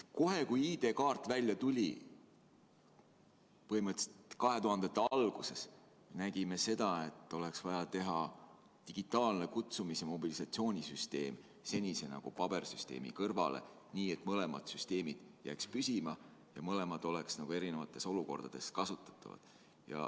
Kohe kui ID-kaart välja tuli, põhimõtteliselt 2000-ndate alguses, nägime seda, et oleks vaja teha digitaalne kutsumis‑ ja mobilisatsioonisüsteem senise pabersüsteemi kõrvale, nii et mõlemad süsteemid jääksid püsima ja mõlemad oleksid erinevates olukordades kasutatavad.